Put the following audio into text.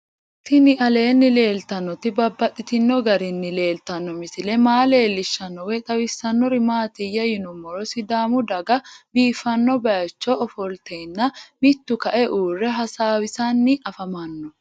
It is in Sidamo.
Tinni aleenni leelittannotti babaxxittinno garinni leelittanno misile maa leelishshanno woy xawisannori maattiya yinummoro sidaamu daga biiffanno bayiichcho ofolittenna mittu kae uure hasaawisanni afammanno